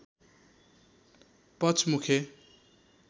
पचमुखे